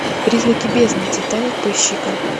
призраки бездны титаник поищи ка